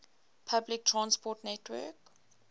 public transport network